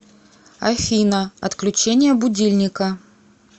афина отключение будильника